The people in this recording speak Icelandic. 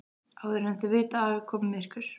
Áður en þau vita af er komið myrkur.